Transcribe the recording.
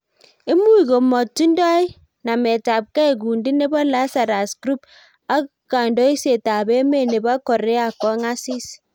imuuch komutindoi nameetabkei kundii nebo Lazarus group ak kiondosiet ab emee nebo korea kongasii